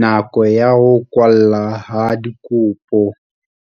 Nako ya ho kwallwa ha dikopo